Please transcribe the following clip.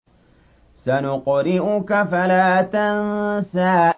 سَنُقْرِئُكَ فَلَا تَنسَىٰ